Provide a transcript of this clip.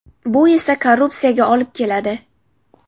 Bu esa korrupsiyaga olib keladi.